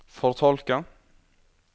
fortolke